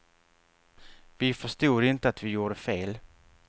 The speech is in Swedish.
Vi förstod inte att vi gjorde fel.